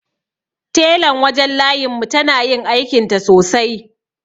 Telan wajen layin mu tana yin aikinta sosai.